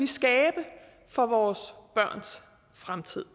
skabe for vores børns fremtid